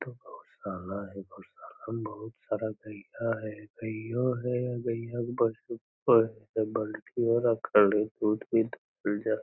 एता गोशाला हेय गोशाला में बहुत सारा गईया गईयो हेय गईया के बछरो हेय --